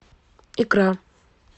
икра